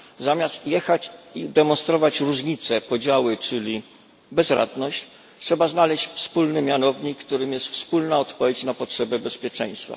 Zamiast jechać i demonstrować różnice, podziały czyli bezradność, trzeba znaleźć wspólny mianownik, którym jest wspólna odpowiedź na potrzeby bezpieczeństwa.